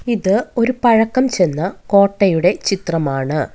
ഇത് ഒരു പഴക്കം ചെന്ന കോട്ടയുടെ ചിത്രമാണ്.